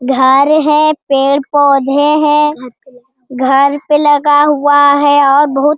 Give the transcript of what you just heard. घर है पेड़-पौधे है घर पे लगाया हुआ है और बहुत --